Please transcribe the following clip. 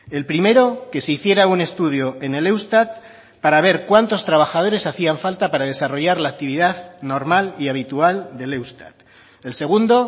el primero que se hiciera un estudio en el eustat para ver cuántos trabajadores hacían falta para desarrollar la actividad normal y habitual del eustat el segundo